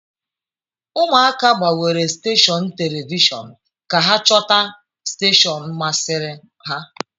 Ụmụaka gbanwere steshọn telivishọn ka ha chọta steshọn masịrị ha.